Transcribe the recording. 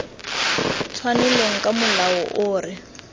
tshwanelong ka molao o re